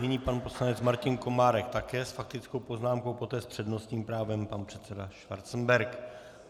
Nyní pan poslanec Martin Komárek také s faktickou poznámkou, poté s přednostním právem pan předseda Schwarzenberg.